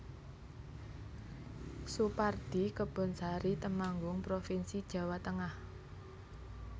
Soepardi Kebonsari Temanggung provinsi Jawa Tengah